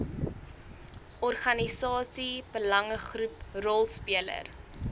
organisasie belangegroep rolspeler